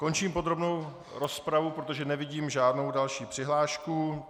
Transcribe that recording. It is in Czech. Končím podrobnou rozpravu, protože nevidím žádnou další přihlášku.